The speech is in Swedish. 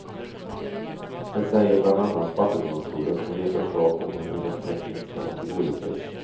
Det säger bland annat vattendomstolen och ger förslag om hur den tekniskt kan tillgodoses.